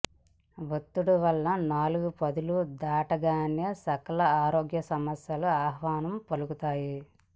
ఒత్తిడి వల్ల నాలుగు పదులు దాటగానే సకల ఆరోగ్య సమస్యలు ఆహ్వానం పలుకుతాయి